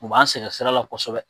U b'an sɛgɛn sira la kosɛbɛ.